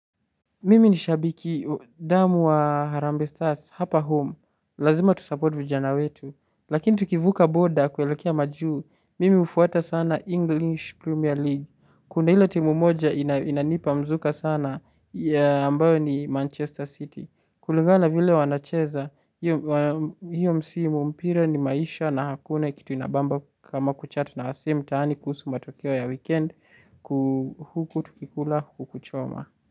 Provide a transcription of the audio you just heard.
Mimi ni shabiki, damu wa Harambe Stars, hapa home, lazima tusupport vijana wetu, lakini tukivuka boda kuelekea majuu, mimi hufuata sana English Premier League, kuna ile timu moja inanipa mzuka sana ya ambayo ni Manchester City, kulingana vile wanacheza, hiyo msimu mpira ni maisha na hakuna kitu inabamba kama kuchat na wase mtaani kusu matokeo ya weekend kuhuku tukikula huku choma.